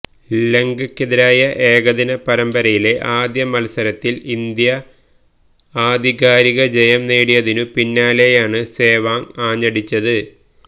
ലങ്കയ്ക്കെതിരായ ഏകദിന പരമ്പരയിലെ ആദ്യ മത്സരത്തില് ഇന്ത്യ ആധികാരിക ജയം നേടിയതിനു പിന്നാലെയാണ് സേവാഗ് ആഞ്ഞടിച്ചത്